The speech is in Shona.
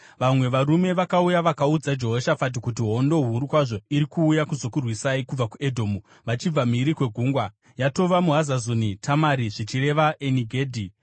Vamwe varume vakauya vakaudza Jehoshafati kuti, “Hondo huru kwazvo iri kuuya kuzokurwisai kubva kuEdhomu, vachibva mhiri kweGungwa. Yatova muHazazoni Tamari (zvichireva Eni Gedhi).”